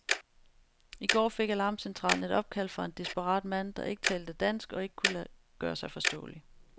I går fik alarmcentralen et opkald fra en desperat mand, der ikke talte dansk og ikke kunne gøre sig forståelig.